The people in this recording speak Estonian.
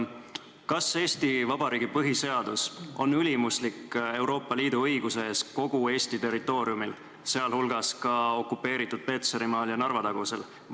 Kas Eesti Vabariigi põhiseadus on ülimuslik Euroopa Liidu õiguse suhtes kogu Eesti territooriumil, sh okupeeritud Petserimaal ja Narva-tagusel alal?